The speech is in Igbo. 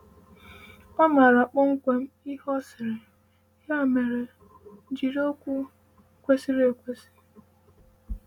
Ọ maara kpọmkwem ihe ọ sịrị, ya mere jiri okwu kwesịrị ekwesị.